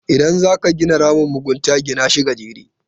Idan zaka gina ramin mugunta, gina shi gajere.